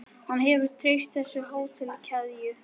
Hann hefur treyst á þessa hótelkeðju.